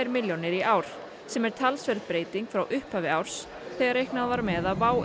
milljónir í ár sem er talsverð breyting frá upphafi árs þegar reiknað var með að WOW